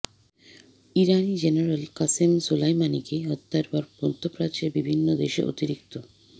ইরানি general Qasem সোলাইমানিকে হত্যার পর মধ্যপ্রাচ্যের বিভিন্ন দেশে অতিরিক্ত